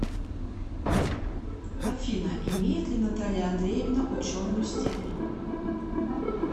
афина имеет ли наталья андреевна ученую степень